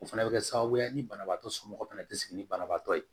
O fana bɛ kɛ sababu ye ni banabaatɔ somɔgɔw fɛnɛ tɛ sigi ni banabaatɔ ye